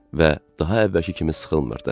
Və daha əvvəlki kimi sıxılmırdı.